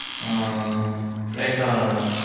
ஆ flight ல வரேன் mam